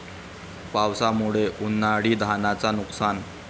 पावसामुळे उन्हाळी धानाचं नुकसान